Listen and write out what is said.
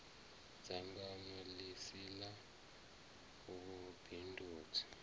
dzangano ḽi si ḽa vhubindudzi